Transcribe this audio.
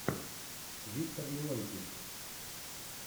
виктор леонтьев